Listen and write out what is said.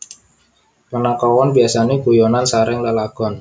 Panakawan biasane guyonan sareng lelagon